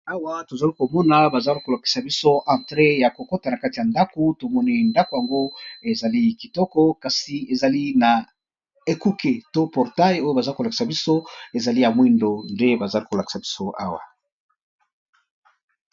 Awa ! tozali komona bazali , kolakisa biso Entré ! ya kokota na kati , ya ndako tomoni ndako, yango ezali kitoko kasi. ezali na ekuke, to portail oyo baza kolakisa biso ezali , ya mwindo nde bazali kolakisa biso awa !